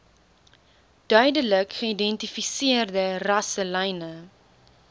duidelik geïdentifiseerde rasselyne